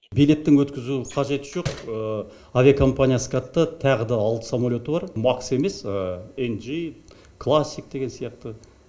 билеттің өткізу қажеті жоқ авиакомпания скатта тағы да алты самолеті бар макс емес эмджи классик деген сияқты